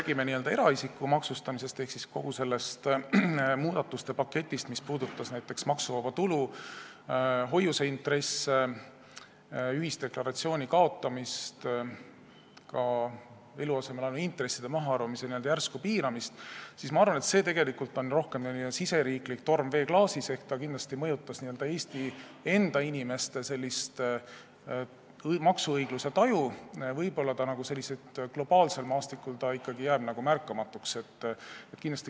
Kui me räägime eraisiku maksustamisest ehk kogu sellest muudatuste paketist, mis puudutab näiteks maksuvaba tulu, hoiuseintresse, ühisdeklaratsiooni kaotamist, ka eluasemelaenu intresside mahaarvamise järsku piiramist, siis ma arvan, et see on rohkem riigisisene torm veeklaasis ehk see kindlasti mõjutas n-ö Eesti enda inimeste maksuõigluse taju, kuid globaalsel maastikul jääb see ikkagi märkamatuks.